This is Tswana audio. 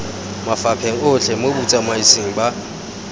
mafapheng otlhe mo botsamaisng ba